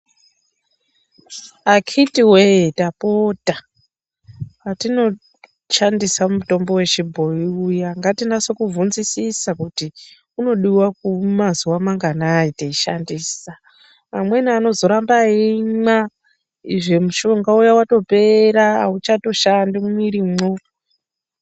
Akhiti we-e tapota patinoshandisa mutombo wechibhoyi uya ngatinase kuvhunzisisa kuti unodiwa mazuva manganai teishandisa. Umweni anozoramba eimwa izvo mushonga watopera, auchatoshandi mumwirimwo.